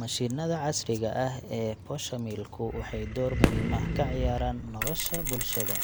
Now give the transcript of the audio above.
Mashiinnada casriga ah ee poshomill ku waxay door muhiim ah ka ciyaaraan nolosha bulshada,